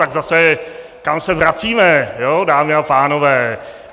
Tak zase - kam se vracíme, dámy a pánové?